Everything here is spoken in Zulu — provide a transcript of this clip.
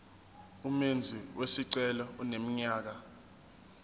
umenzi wesicelo eneminyaka